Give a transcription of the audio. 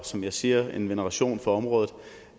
som jeg siger en veneration for området